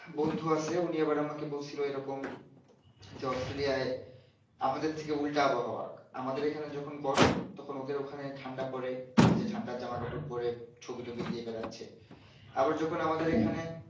বন্ধু আছে উনি আবার আমাকে বলছিলো এরকম যে অস্ট্রলিয়াই আমাদের থেকে উল্টা আবহওয়া আমাদের এখানে যখন গরম ওদের ওখানে ঠান্ডা পরে দেখেছি ঠান্ডা জামা কাপড় পরে ছবি টোবি দিয়ে বেড়েছে আবার যখন আমাদের এখানে